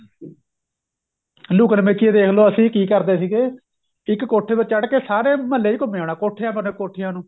ਲੁਕਣ ਮੀਚੀ ਈ ਦੇਖ ਲੋ ਅਸੀਂ ਕੀ ਕਰਦੇ ਸੀਗੇ ਇੱਕ ਕੋਠੇ ਤੋਂ ਚੜ ਕੇ ਮਹਲੇ ਚ ਘੁੰਮੇ ਆਣਾ ਕੋਠਿਆਂ ਪਰ ਨੂੰ ਕੋਠਿਆਂ ਨੂੰ